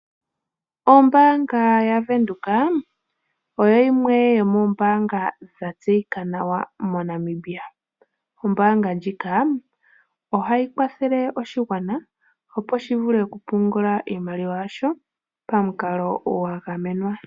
Ombaanga yaVenduka oyo yimwe yomoombaanga dhatseyika nawa moNamibia. Ombaanga ndjika ohayi kwathele oshigwana opo shi vule okupungula iimaliwa yasho pamukalo gwa gamenwa.